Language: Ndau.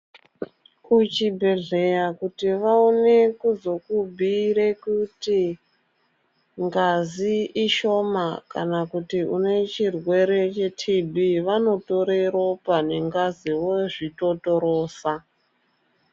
Kuchibhedhleya kuti vaone kuzokubhuyire kuti ngazi ishoma kana kuti une chirwere chetiibhii vanotore ropa nengazi vozvitotorosa.